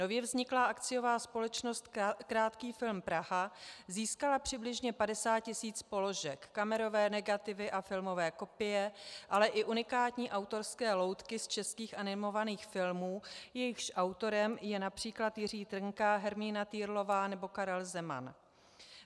Nově vzniklá akciová společnost Krátký film Praha získala přibližně 50 tisíc položek, kamerové negativy a filmové kopie, ale i unikátní autorské loutky z českých animovaných filmů, jejichž autorem je například Jiří Trnka, Hermína Týrlová nebo Karel Zeman.